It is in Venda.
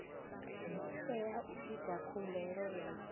tea u ita khumbelo ya